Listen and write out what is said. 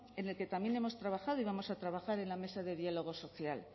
en el que también hemos trabajado y vamos a trabajar en la mesa de diálogo social